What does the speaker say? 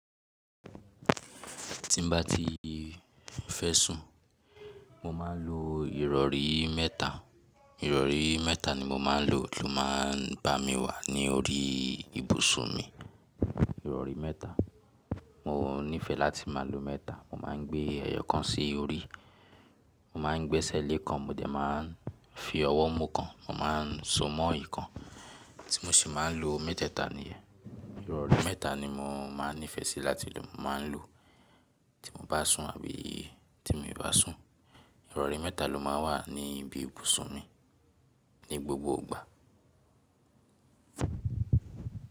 Tí n bá ti fẹ́ sùn, mo máa n lo ìrọ̀rí mẹ́tà. Ìrọ̀rí mẹ́tà ni mo máa n lò ló máa n bá mi wà ní orí ibùsùn mi. Ìrọ̀rí mẹ́tà. Mo nífẹ̀ẹ́ láti máa lo mẹ́tà. Mo máa n gbé ẹyọ kan sí orí, mo máa n gbẹ́sẹ̀ lé kan, mo dẹ máa n fi ọwọ́ mu kan, mo máa n so mọ ikan, tí mo ṣe máa n lo mẹ́tẹ́tà niyẹn. Ìrọ̀rí mẹ́tà ni mo máa n nífẹ̀ẹ́ si láti lò. Mo máa n lò tí mo bá sùn àbí tí mo ì bá sùn. Ìrọ̀rí mẹ́tà lo máa n wà ní ibi ibùsùn mi ní gbogbo ìgbà.